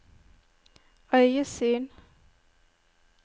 øyesyn